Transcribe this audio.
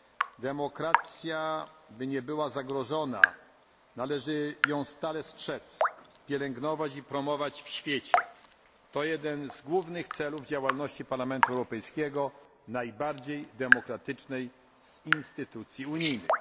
Aby demokracja nie była zagrożona, należy jej stale strzec, pielęgnować i promować ją w świecie. To jeden z głównych celów działalności Parlamentu Europejskiego, najbardziej demokratycznej z Instytucji unijnych.